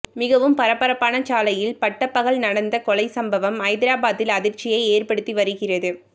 மிகவும் பரபரப்பான சாலையில் பட்டப்பகல் நடந்த கொலை சம்பவம் ஐதராபாத்தில் அதிர்ச்சியை ஏற்படுத்தி வருகிறது